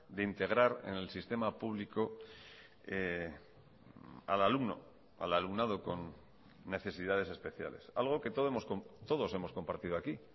de integrar en el sistema público al alumno al alumnado con necesidades especiales algo que todos hemos compartido aquí